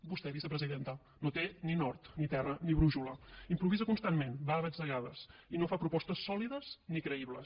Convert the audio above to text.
vostè vicepresidenta no té ni nord ni terra ni brúixola improvisa constantment va a batzegades i no fa propostes sòlides ni creïbles